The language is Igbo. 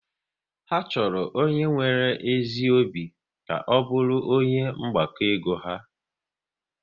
Ha chọrọ onye nwere ezi obi ka ọ bụrụ onye mgbakọ ego ha